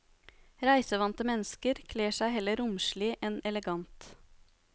Reisevante mennesker kler seg heller romslig enn elegant.